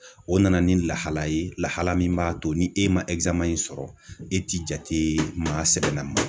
O nana ni lahalaya ye lahala min b'a to ni e ma in sɔrɔ, e ti jate maa sɛbɛlamaw